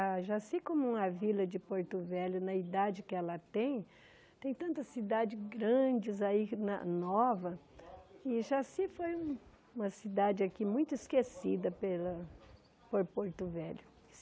A Jaci, como uma vila de Porto Velho, na idade que ela tem, tem tantas cidades grandes aí que na, novas, e Jaci foi uma cidade aqui muito esquecida pela por Porto Velho.